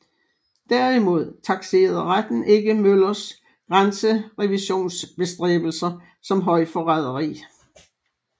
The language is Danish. Derimod takserede retten ikke Møllers grænserevisionsbestræbelser som højforræderi